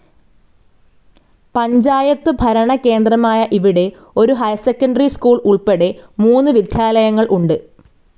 പഞ്ചായത്തു ഭരണകേന്ദ്രമായ ഇവിടെ ഒരു ഹൈർ സെക്കൻഡറി സ്കൂൾ ഉൾപ്പെടെ മൂന്നു വിദ്യാലയങ്ങൾ ഉണ്ട്.